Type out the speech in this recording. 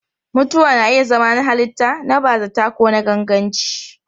Mutuwa na iya zama na halitta, na bazata ko na ganganci.